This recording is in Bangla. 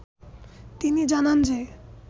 তিনি জানান যে